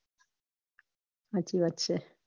હાચી વાત છે.